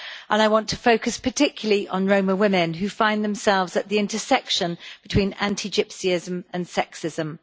I want to focus particularly on Rome women who find themselves at the intersection between anti Gypsyism and sexism.